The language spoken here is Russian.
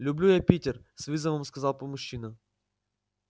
люблю я питер с вызовом сказал мужчина